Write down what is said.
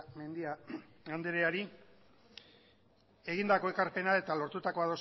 mendia andreari egindako ekarpena eta lortutako